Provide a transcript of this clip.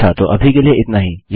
अच्छा तो अभी के लिए इतना ही